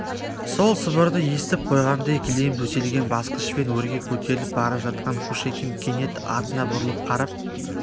сол сыбырды естіп қойғандай кілем төселген басқышпен өрге көтеріліп бара жатқан кушекин кенет артына бұрылып қарап